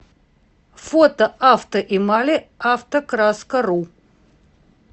фото авто эмали автокраскару